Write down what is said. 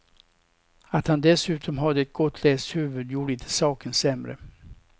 Att han dessutom hade ett gott läshuvud gjorde inte saken sämre.